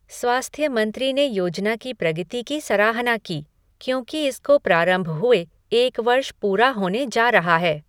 स्वास्थ्य मंत्री ने योजना की प्रगति की सराहना की, क्योंकि इसको प्रारंभ हुए एक वर्ष पूरा होने जा रहा है।